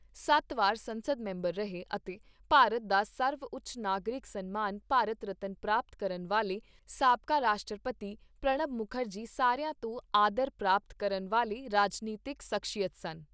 ਸੱਤ ਵਾਰ ਸੰਸਦ ਮੈਂਬਰ ਰਹੇ ਅਤੇ ਭਾਰਤ ਦਾ ਸਰਵਉੱਚ ਨਾਗਰਿਕ ਸਨਮਾਨ ਭਾਰਤ ਰਤਨ ਪ੍ਰਾਪਤ ਕਰਨ ਵਾਲੇ ਸਾਬਕਾ ਰਾਸ਼ਟਰਤੀ ਪ੍ਰਣਬ ਮੁਖਰਜੀ ਸਾਰਿਆਂ ਤੋਂ ਆਦਰ ਪ੍ਰਾਪਤ ਕਰਨ ਵਾਲੇ ਰਾਜਨੀਤਿਕ ਸਖ਼ਸੀਅਤ ਸਨ।